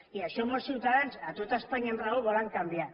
i això molts ciutadans a tot espanya amb raó ho volen canviar